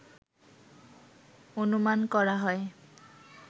অনুমান করা হয়